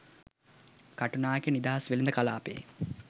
කටුනායක නිදහස් වෙළඳ කලාපයේ